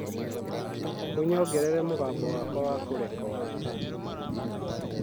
ũnyongerere mũgambo wakwa wa kurekondi